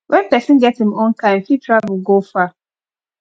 when person get im own car im fit travel go far